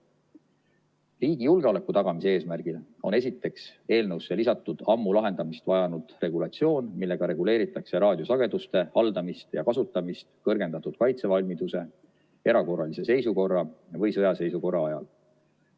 Riigi julgeoleku tagamise eesmärgil on esiteks eelnõusse lisatud ammu lahendamist vajanud regulatsioon, millega reguleeritakse raadiosageduste haldamist ja kasutamist kõrgendatud kaitsevalmiduse, erakorralise seisukorra või sõjaseisukorra ajal.